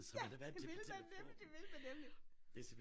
Ja! Det ville man nemlig det ville man nemlig